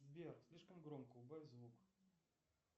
сбер слишком громко убавь звук